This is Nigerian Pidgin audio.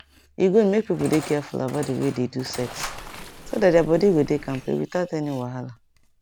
e good make people dey careful about the way they do sex so that their body go dey kampe without any wahala